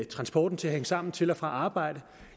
transporten til at hænge sammen til og fra arbejde